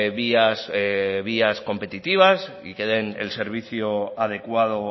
vías vías competitivas y que den el servicio adecuado